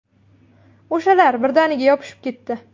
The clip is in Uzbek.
O‘shalar birdaniga yopishib ketdi.